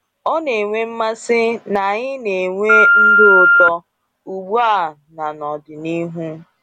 Ọ na-enwe mmasị na anyị na-enwe ndụ ụtọ, ugbu a na n’ọdịnihu.